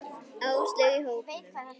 Áslaugu í hópnum.